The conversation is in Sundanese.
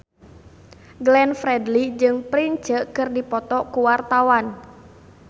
Glenn Fredly jeung Prince keur dipoto ku wartawan